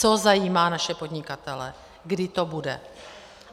Co zajímá naše podnikatele: kdy to bude?